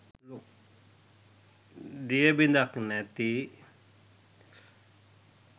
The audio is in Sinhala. දිය බිදක් නැති